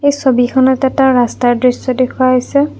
ছবিখনত এটা ৰাস্তাৰ দৃশ্য দেখুওৱা হৈছে।